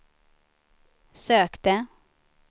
sökte